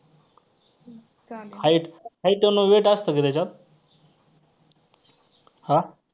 hight hight आणि weight असतं का त्याच्यात आ